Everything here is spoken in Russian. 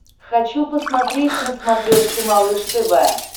хочу посмотреть на смотрешке малыш тв